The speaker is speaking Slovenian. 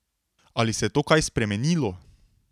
Ali se je to kaj spremenilo?